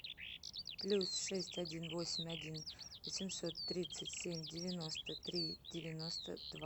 плюс шесть один восемь один восемьсот тридцать семь девяносто три девяносто два